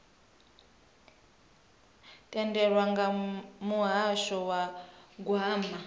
tendelwaho nga muhasho wa gwama